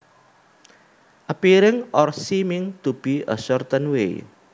appearing or seeming to be a certain way